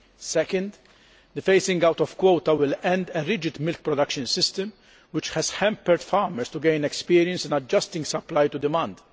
Secondly, the phasing out of quota will end a rigid milk production system which has hampered farmers from gaining experience in adjusting supply to demand.